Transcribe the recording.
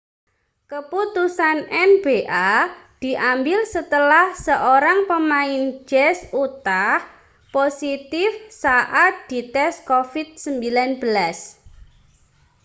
keputusan nba diambil setelah seorang pemain jazz utah positif saat dites covid-19